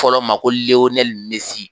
Fɔlɔ ma ko Lehonɛli Mesi